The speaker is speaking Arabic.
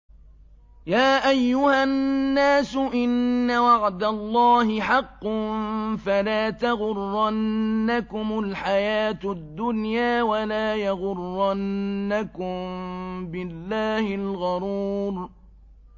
يَا أَيُّهَا النَّاسُ إِنَّ وَعْدَ اللَّهِ حَقٌّ ۖ فَلَا تَغُرَّنَّكُمُ الْحَيَاةُ الدُّنْيَا ۖ وَلَا يَغُرَّنَّكُم بِاللَّهِ الْغَرُورُ